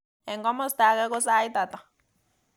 Eng komosta age ko sait ata